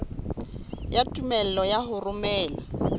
ya tumello ya ho romela